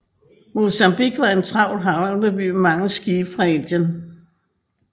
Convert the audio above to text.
Mozambique var en travl havneby med mange skibe fra Indien